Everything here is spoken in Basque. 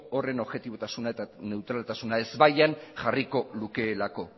horren objetibotasuna eta ezbaian jarriko lukeelako